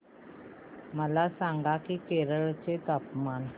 मला सांगा की केरळ चे तापमान